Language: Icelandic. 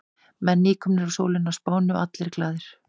Menn nýkomnir úr sólinni á Spáni og allir glaðir.